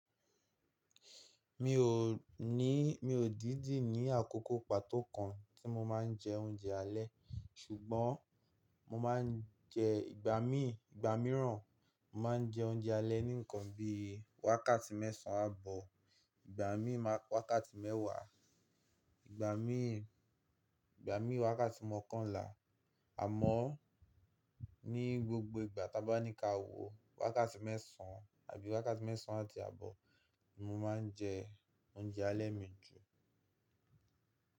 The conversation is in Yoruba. Mi ò ní, mi ò dídi ní àkókò pàtó kan tí mo máa ń jẹ oúnjẹ alẹ́ ṣùgbọ́n mo máa ń jẹ ìgbà mí ìgbà míràn. Mo máa ń jẹ oúnjẹ alẹ́ ní ǹkan bi wákàtí mẹ́sàn án àbọ̀, ìgbà mí wákàtí mẹ́wàá, ìgbà mí, ìgbà mí wákàtí mọ́kànlá. Àmọ́ ní gbogbo ìgbà tí a bá ní ka wò wákàtí mẹ́sàn án àbí wákàtí mẹ́sàn án àti àbọ̀ ni mo máa ń jẹ oúnjẹ alẹ́ mi jù.